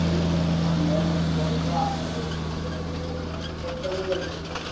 ଆଉ main ପର୍ବ ଆମ ଭଦ୍ରକର ତମେ ସେ କଟକରେ ରହୁଛ ବୋଧେ?